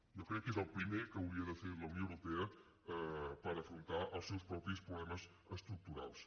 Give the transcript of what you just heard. jo crec que és el primer que hauria de fer la unió europea per afrontar els seus propis problemes estructurals